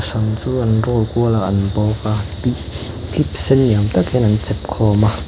sam chu an roll kual a kan bawk a clip clip sen ni awm tak hian an chep khawm a.